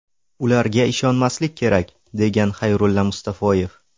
Ularga ishonmaslik kerak”, – degan Xayrulla Mustafoyev.